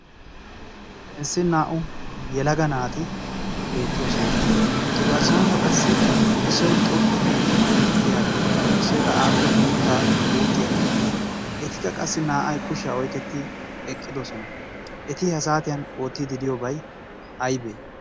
inssi naa"u yelaga naati beettoosona etu garssaankka qassi issoi xoqqu giidi deyaagaa issoi qa aappe guuttaa guuxxiyaagaa etikka qassi naa'ay kushiyaa oyketti eqqidosona. eti ha saatiyan oottiidi diyoobay aybe?